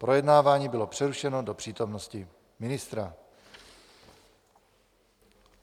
Projednávání bylo přerušeno do přítomnosti ministra.